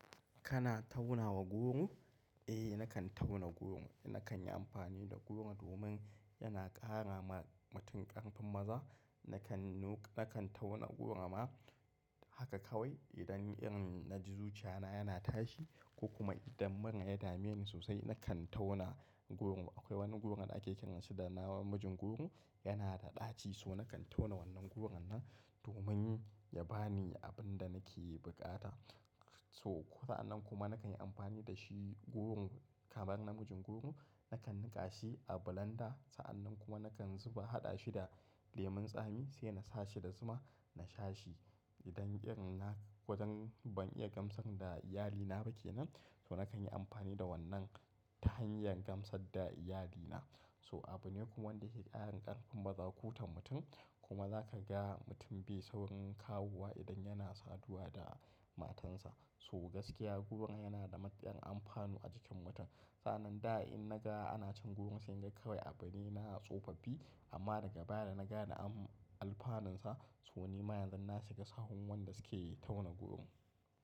Kana tauna wa goro? Eh nakan tauna goro. Nakan yi amfani da goro domin yana ƙara ma mutum ƙarfin maza. Nakan, nakan tauna goro ma haka kawai idan irin na ji zuciya na yana tashi ko kuma idan mura ya dame ni sosai nakan tauna goro. Akwai wani goro da ake kiran shi da namijin goro, yana da ɗaci so nakan tauna wannan goro nan domin ya ba ni abin da nake buƙata. So sa'an nan kuma nakan yi amfani da shi goro kamar namijin goro nakan niƙa shi a blender sa'an nan kuma nakan zuba haɗa shi da lemun tsami sai na sa shi da zuma na sha shi. Idan iri na, wajen ban iya gamsar da iyali na ba kenan so nakan yi amfani da wannan hanyar gamsar da iyali na. So abu ne kuma wanda ke ƙara ƙarfin maza, kutan mutum kuma za ka ga mutum bai saurin kawuwa idan yana saduwa da matansa. So gaskiya goro yana da matuƙan amfani a jikin mutum. Sa'an nan da in na ga ana cin goro sai in ga kawai a bari na a tsofaffi amma daga baya da na gane am, amfaninsa so ni ma yanzu na shiga sahun wanda suke tauna goro.